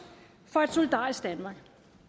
for et solidarisk danmark